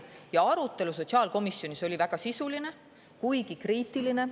Ja arutelu sotsiaalkomisjonis oli väga sisuline, kuigi kriitiline.